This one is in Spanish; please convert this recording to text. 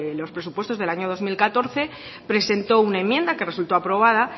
los presupuesto del año dos mil catorce presentó una enmienda que resultó aprobada